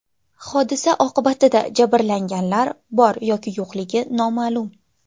Hodisa oqibatida jabrlanganlar bor yoki yo‘qligi noma’lum.